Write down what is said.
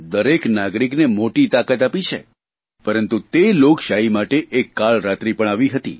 દરેક નાગરિકને મોટી તાકાત આપી છે દરેક નાગરિકોને મોટી તાકાત આપી છે પરંતુ લોકશાહી માટે એક કાળરાત્રી પણ આવી હતી